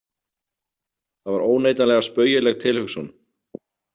Það var óneitanlega spaugileg tilhugsun.